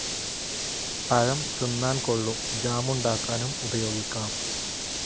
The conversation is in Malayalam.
പഴം തിന്നാൻ കൊള്ളും ജാമുണ്ടാക്കാനും ഉപയോഗിക്കാം.